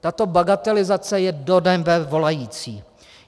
Tato bagatelizace je do nebe volající.